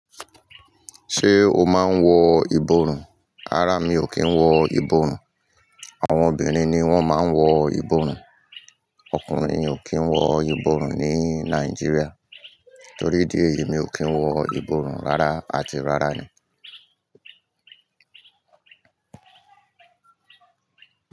Ṣé o máa ń wọ ìborùn? Rárá, mi ò kí ń wọ ìborùn. Àwọn obìnrin ni wọ́n máa ń wọ ìborùn. Ọkùnrin ò kí ń wọ ìborùn ní Nàìjíríà. Torí idí èyí, mi ò kí ń wọ ìborùn rárá àti rárá ni.